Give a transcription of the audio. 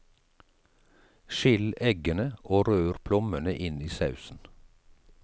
Skill eggene og rør plommene inn i sausen.